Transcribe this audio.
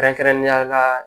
Kɛrɛnkɛrɛnnenya la